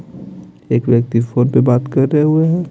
एक व्यक्ति फोन पे बात कर रहे हुए हैं।